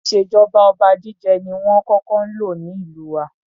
Ìṣèjọba oba jíjẹ ni wón kókó ń lò ní ìlú wa.